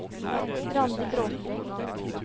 Randi Bråthen